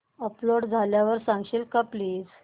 upload झाल्यावर सांगशील का प्लीज